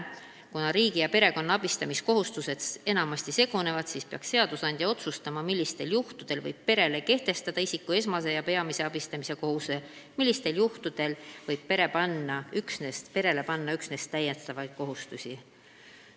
Kuna riigi ja perekonna abistamiskohustused enamasti segunevad, siis peaks seadusandja otsustama, millistel juhtudel võib perele kehtestada isiku esmase ja peamise abistamise kohustuse, millistel juhtudel võib perele panna aga üksnes täiendavaid kohustusi.